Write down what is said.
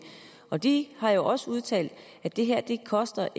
og de har jo også udtalt at det ikke koster